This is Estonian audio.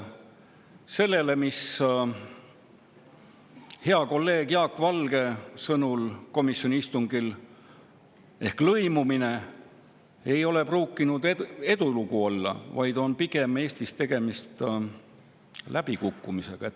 Kasutades hea kolleegi Jaak Valge sõnu komisjoni istungil: lõimumine ei ole pruukinud olla edulugu, pigem on Eestis siin tegemist läbikukkumisega.